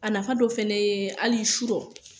A nafa dɔ fɛnɛ ye hali surɔ